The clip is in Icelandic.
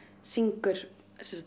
syngur